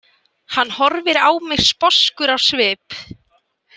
Hann horfir á mig sposkur á svip.